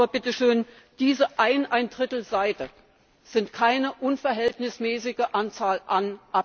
Aber, bitteschön, diese ein und ein Drittel Seite sind keine unverhältnismäßige Anzahl an Abstimmungen.